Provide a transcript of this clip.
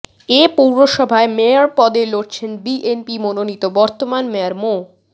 এ পৌরসভায় মেয়র পদে লড়ছেন বিএনপি মনোনীত বর্তমান মেয়র মো